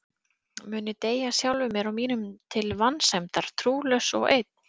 Mun ég deyja sjálfum mér og mínum til vansæmdar, trúlaus og einn?